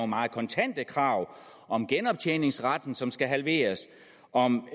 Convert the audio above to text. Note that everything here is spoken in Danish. meget kontante krav om genoptjeningsretten som skal halveres om